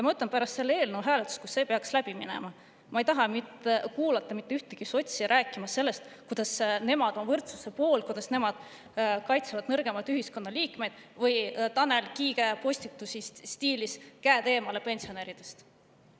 Ma ütlen, et pärast selle eelnõu hääletust, kui see peaks läbi minema, ma ei taha kuulata mitte ühtegi sotsi rääkimas sellest, kuidas nemad on võrdsuse poolt ja kuidas nemad kaitsevad nõrgemaid ühiskonnaliikmeid, ega Tanel Kiige postitusi stiilis "Käed eemale pensionäridest".